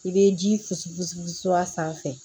I bɛ ji susu fosi sanfɛ